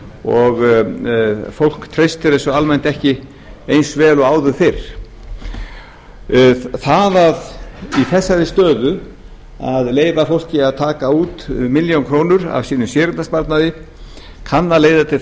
og fólk treystir þessu almennt ekki eins vel og og áður fyrr það að í þessari stöðu að leyfa fólki að taka út milljón krónur af sínum séreignarsparnaði kann að leiða til